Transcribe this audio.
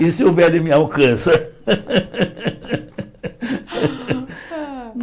E se houver, ele me alcança.